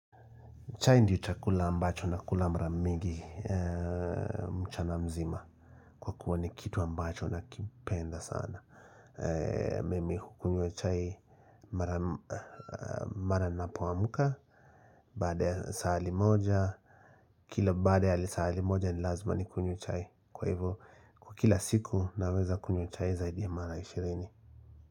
Chai ndio chakula ambacho nakula mara mingi mchana mzima kwakua ni kitu ambacho nakipenda sana Mimi hukunywa chai mara ninapoamka Baada ya saa limoja Kila baada ya lisaa limoja ni lazima nikunywe chai Kwa hivo kwa kila siku naweza kunywa chai zaidi ya mara ishirini.